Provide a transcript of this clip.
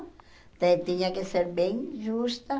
Você tinha que ser bem justa.